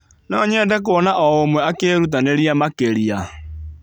Nonyende kuona o ũmwe akĩrutanĩria makĩria.